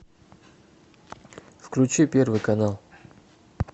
включи первый канал